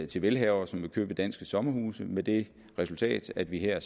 til velhavere som vil købe danske sommerhuse med det resultat at vi her